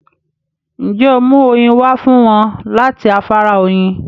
Ǹjẹ́ óò mú oyin wá fún wọn láti afárá Oyin?